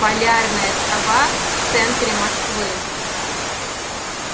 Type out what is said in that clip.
полярная сова в центре москвы